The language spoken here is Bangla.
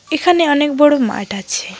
এখানে অনেক বড় মাঠ আছে।